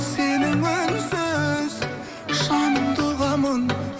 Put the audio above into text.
сенің үнсіз жаныңды ұғамын